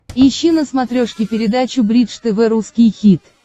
ищи на смотрешке передачу бридж тв русский хит